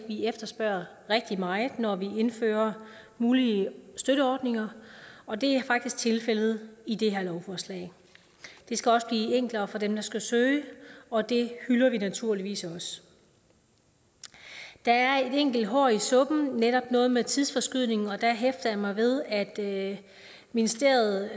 vi efterspørger rigtig meget når vi indfører mulige støtteordninger og det er faktisk tilfældet i det her lovforslag det skal også blive enklere for dem der skal søge og det hylder vi naturligvis også der er et enkelt hår i suppen netop noget med tidsforskydningen der hæfter jeg mig ved at ministeriet